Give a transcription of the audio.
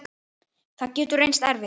Það getur reynst erfitt.